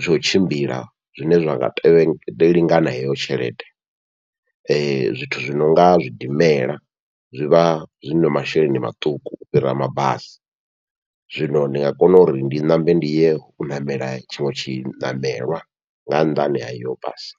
tsha u tshimbila zwine zwa nga lingana heyo tshelede, zwithu zwi nonga zwidimela zwivha zwina masheleni maṱuku u fhira mabasi, zwino ndi nga kona uri ndi ṋambe ndi ye u ṋamela tshiṅwe tshi ṋamelwa nga nnḓani ha iyo basi.